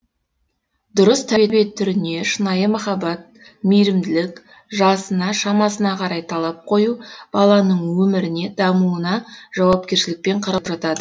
дұрыс тәрбие түріне шынайы махаббат мейірімділік жасына шамасына қарай талап қою баланың өміріне дамуына жауапкершілікпен қарау жатады